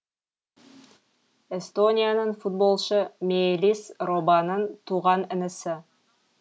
эстонияның футболшы меелис робаның туған інісі